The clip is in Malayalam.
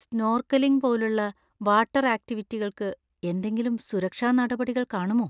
സ്നോർക്കലിംഗ് പോലുള്ള വാട്ടർ ആക്റ്റിവിറ്റികൾക്ക് എന്തെങ്കിലും സുരക്ഷാ നടപടികൾ കാണുമോ?